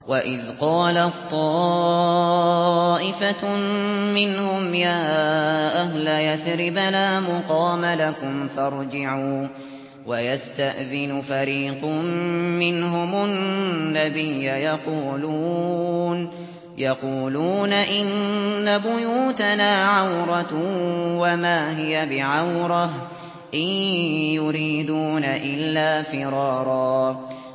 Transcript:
وَإِذْ قَالَت طَّائِفَةٌ مِّنْهُمْ يَا أَهْلَ يَثْرِبَ لَا مُقَامَ لَكُمْ فَارْجِعُوا ۚ وَيَسْتَأْذِنُ فَرِيقٌ مِّنْهُمُ النَّبِيَّ يَقُولُونَ إِنَّ بُيُوتَنَا عَوْرَةٌ وَمَا هِيَ بِعَوْرَةٍ ۖ إِن يُرِيدُونَ إِلَّا فِرَارًا